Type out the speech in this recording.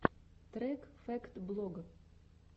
трек фэкт блог